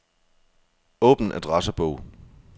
Åbn adressebog.